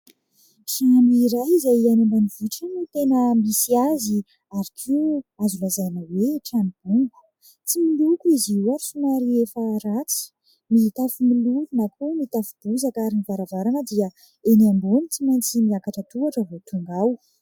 Trano iray izay any ambanivohitra no tena misy azy ary koa azo lazaina hoe trano bongo. Tsy miloko izy io somary efa ratsy mitafo mololo na koa mitafo bozaka ary ny varavarana dia eny ambony tsy maintsy miakatra tohatra vao tonga ao.